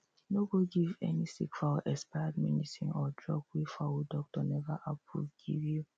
no go give any sick fowl expired medicine or drug wey fowl doctor never approve give you